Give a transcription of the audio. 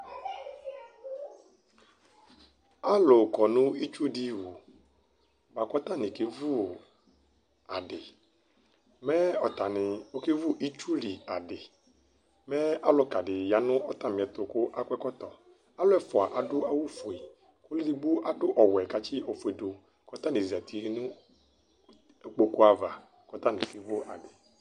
Alʋ kɔ nʋ itsu dɩ wu bʋa kʋ ɔtanɩ kevu adɩ Mɛ ɔtanɩ ɔkevu itsu li adɩ Mɛ alʋka dɩ ya nʋ ɔtamɩɛtʋ kʋ akɔ Alʋ ɛfʋa adʋ awʋfue Kʋ ɔlʋ edigbo adʋ ɔwɛ kʋ atsɩ ofue dʋ kʋ ɔtanɩ zati nʋ kpoku ava kʋ ɔtanɩ kevu adɩ